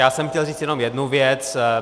Já jsem chtěl říct jenom jednu věc.